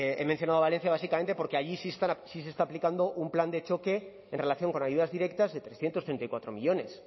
he mencionado valencia básicamente porque allí sí se está aplicando un plan de choque en relación con ayudas directas de trescientos treinta y cuatro millónes